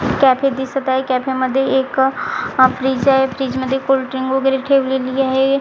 Cafe दिसत आहे कॅफेमध्ये एक फ्रिज आहे फ्रिजमध्ये कोल्ड्रिंक वगैरे ठेवलेली आहे.